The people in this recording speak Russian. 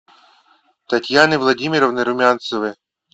татьяны владимировны румянцевой